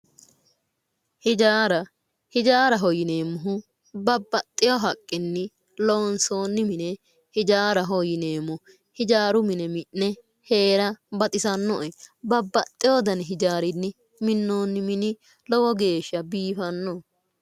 ijaara ijaaraho yineemohu babbaxxewo haqqinni lonsoonni mine ijaaraho yineemo ijaaru mine mi'ne heera baxisannoe babbaxxewo dani ijaarinni minoonni mini lowo geesha biifanno